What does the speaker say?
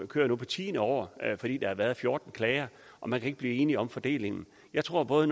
kører nu på tiende år fordi der har været fjorten klager og man kan ikke blive enige om fordelingen jeg tror at